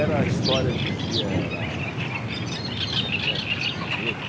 Era a história, dizia, era, como é que era o enredo?